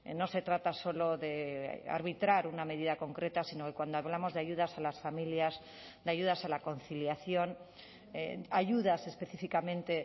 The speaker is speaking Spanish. no se trata solo de arbitrar una medida concreta sino que cuando hablamos de ayudas a las familias de ayudas a la conciliación ayudas específicamente